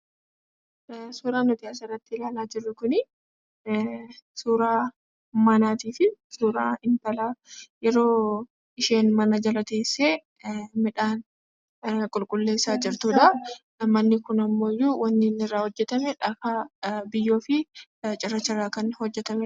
Suuraa nuti asirratti ilaalaa jirru kun, suuraa manaatii fi suuraa intalaa yeroo isheen mana jala teessee midhaan qulqulleessaa jirtuu dha. Manni kun ammoo wanni inni irraa hojjetame dhagaa, biyyoo fi cirracha irraa kan hojjetamee dha.